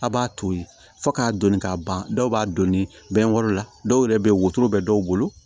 A' b'a to ye fo k'a donni k'a ban dɔw b'a donni bɛɛ yɔrɔ la dɔw yɛrɛ bɛ wotoro bɛ dɔw bolo